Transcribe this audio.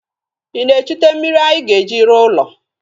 Ị na-echute mmiri anyị ga-eji rụọ ụlọ?